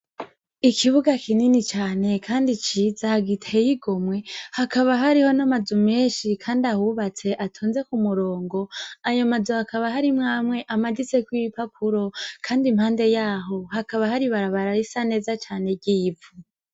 Ikibuga kinini cane kandi ciza giteye igomwe, hakaba hariho n'amazu menshi kandi ahubatse atonze k'umurongo. Ayo mazu hakaba harimwo amwe amaditseko ibipapuro, kandi impande y'aho hakaba har'ibarabara risa neza cane ry'ivu.